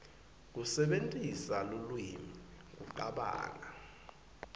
kusebentisa lulwimi kucabanga